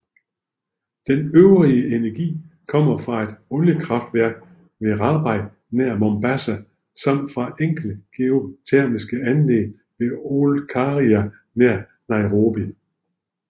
Den øvrige energi kommer fra et oliekraftværk ved Rabai nær Mombasa samt fra enkelte geotermiske anlæg ved Olkaria nær Nairobi